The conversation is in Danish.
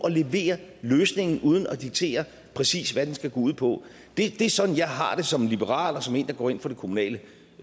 at levere løsningen uden at diktere præcis hvad den skal gå ud på det er sådan jeg har det som liberal og som en der går ind for det kommunale